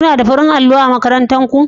Kuna da farin allo a makarantarku